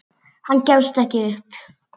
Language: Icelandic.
Hann gefst ekki upp.